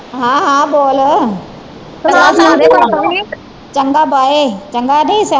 ਹਾਂ ਹਾਂ ਬੋਲ ਚੰਗਾ ਬਾਏ ਚੰਗਾ ਨੀ